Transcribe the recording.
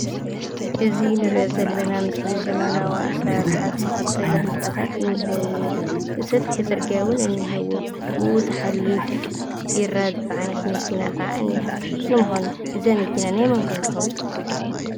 እዚ እንርእዮ ዘለና ምስሊ ዘመናዊ ኣሰራርሓ ዝተኸተለ ህንፃታት እኒሄዎ። ሰፊሕ ፅርግያ እውን እኒሄዎ። ብኡ እትሓልፍ ቢራ ዝፀዓነት መኪና ኸዓ እኒሃ። ንምዃኑ እዛ መኪና ናይ መን ኮን ትኸውን?